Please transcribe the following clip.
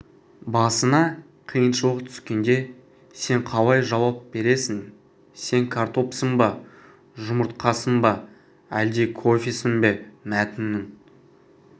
басыңа қиыншылық түскенде сен қалай жауап бересің сен картопсың ба жұмытрқасың ба әлде кофесің бе мәтіннің